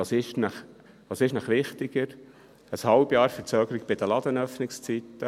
Was ist Ihnen wichtiger, ein halbes Jahr Verzögerung bei den Ladenöffnungszeiten?